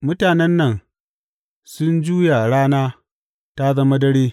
Mutanen nan sun juya rana ta zama dare.